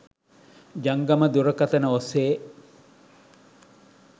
ජංගම දුරකථන ඔස්සේ